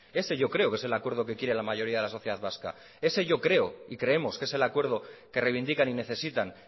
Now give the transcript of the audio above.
ese yo creo que es el acuerdo que quiere la mayoría de la sociedad vasca ese yo creo y creemos que es el acuerdo que reivindican y necesitan